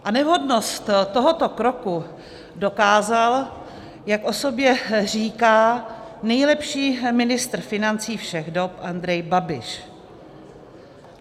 A nevhodnost tohoto kroku dokázal, jak o sobě říká, nejlepší ministr financí všech dob Andrej Babiš.